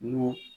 N'o